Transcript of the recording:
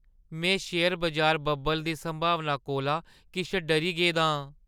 में शेयर बजार बब्बल दी संभावना कोला किश डरी गेदा आं।